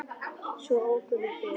Svo ókum við burt.